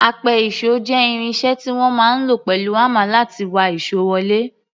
Apẹ-ìṣò jẹ́ irin iṣẹ́ tí wọ́n máa ń lò pẹ̀lú hámà láti wa ìṣó wọlé.